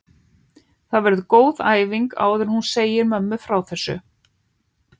Það verður góð æfing áður en hún segir mömmu frá þessu.